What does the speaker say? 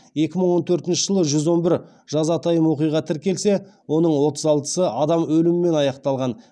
екі мың он төртінші жылы жүз он бір жазатайым оқиға тіркелсе оның отыз алтысы адам өлімімен аяқталған